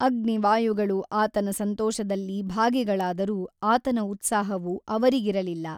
ಅಗ್ನಿ ವಾಯುಗಳು ಆತನ ಸಂತೋಷದಲ್ಲಿ ಭಾಗಿಗಳಾದರೂ ಆತನ ಉತ್ಸಾಹವು ಅವರಿಗಿರಲಿಲ್ಲ.